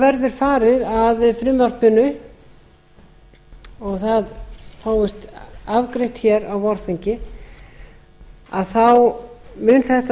verður farið að frumvarpinu og það fæst afgreitt hér á vorþingi þá mun þetta